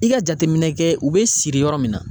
I ka jateminɛ kɛ u bɛ siri yɔrɔ min na.